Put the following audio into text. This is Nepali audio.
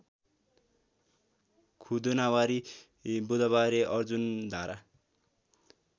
खुदुनावारी बुधबारे अर्जुनधारा